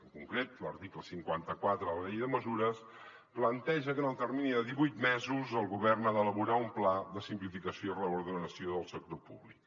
en concret l’article cinquanta quatre de la llei de mesures planteja que en el termini de divuit mesos el govern ha d’elaborar un pla de simplificació i reordenació del sector públic